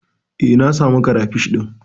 Eh, na samu karafish ɗin.